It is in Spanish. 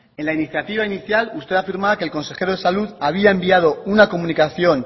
en la iniciativa inicial usted afirmaba que el consejero de salud había enviado una comunicación